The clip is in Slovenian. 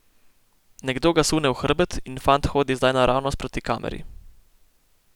Nekdo ga sune v hrbet in fant hodi zdaj naravnost proti kameri.